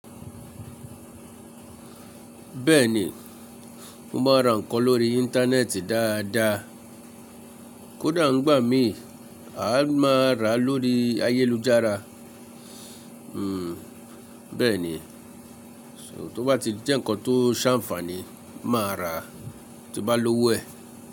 Bẹ́ẹ̀ni, mo máa n ra nǹkan lórí íńtánẹ́ẹ̀tì dáadáa. Kódà nigbà mii, a máa rà lórí ayélujára. Hmm, bẹ́ẹ̀ni, so tó bá ti jẹ́ nǹkan tó ṣànfaàní, màá rà, tí n bá lówó ẹ̀.